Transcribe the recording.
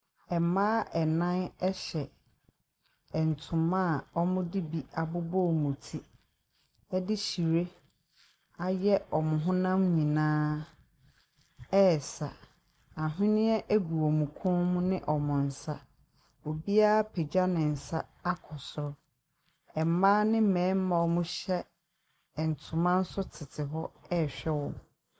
Mmaa nnan hyɛ ntoma a wɔde bi abobɔ wɔn ti de hyire ayɛ wɔn honam nyinaa ɛresa. Aweneɛ gu wɔn kɔn mu ne wɔn nsa. Obiara apagya ne nsa akɔ soro. Mmaa ne mmarima a wɔhyɛ ntoma nso tete hɔ ɛre hwɛ wɔn.